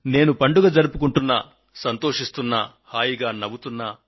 నేను పండుగ జరుపుకొంటున్నా సంతోషిస్తున్నా హాయిగా నవ్వుతున్నా